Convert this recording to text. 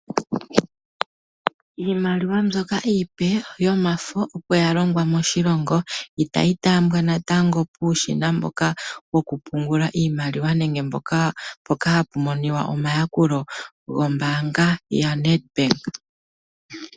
Iimaliwa mbyoka iipe yomafo opo ya longwa moshilongo itayi taambwa natango puushina mboka wokupungula iimaliwa nenge mpoka ha pu monika omayakulo gombaanga yaNedbank.